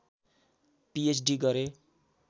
PhD गरे